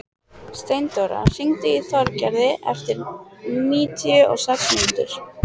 Steindóra, hringdu í Þorgerði eftir níutíu og sex mínútur.